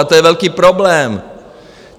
A to je velký problém.